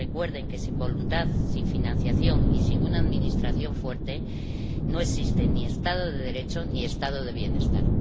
Recuerden que sin voluntad, sin financiación y sin una administración fuerte no existen ni Estado de Derecho ni Estado del bienestar.